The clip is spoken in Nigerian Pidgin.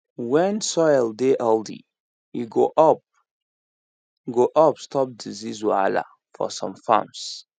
when soil dey healthy e go help go help stop disease wahala for some farms